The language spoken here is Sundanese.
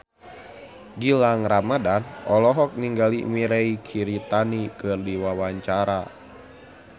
Gilang Ramadan olohok ningali Mirei Kiritani keur diwawancara